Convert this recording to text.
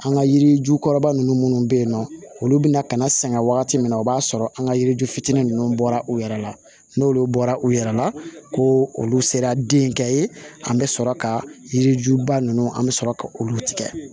An ka yirijukɔrɔba nunnu bɛ yen nɔ olu bɛna ka na sɛgɛn wagati min na o b'a sɔrɔ an ka yiri ju fitinin ninnu bɔra u yɛrɛ la n'olu bɔra u yɛrɛ la ko olu sera den kɛ ye an bɛ sɔrɔ ka yiri juba ninnu an bɛ sɔrɔ ka olu tigɛ